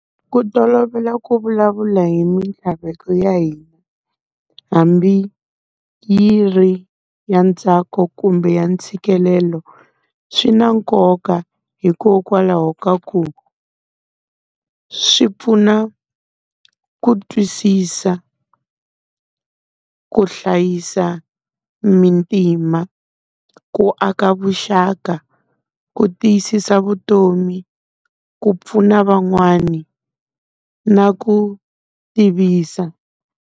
Ku tolovela ku vulavula hi mintlhaveko ya hina, hambi yi ri ya ntsako kumbe ya ntshikelelo, swi na nkoka hikokwalaho ka ku swi pfuna ku twisisa ku hlayisa muntima, ku aka vuxaka, ku tiyisisa vutomi, ku pfuna van'wani na ku tivisa.